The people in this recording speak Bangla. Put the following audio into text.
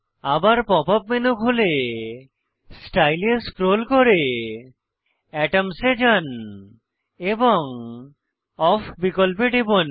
আবার পপ আপ মেনু খুলে স্টাইল এ স্ক্রোল করে এটমস এ যান এবং অফ বিকল্পে টিপুন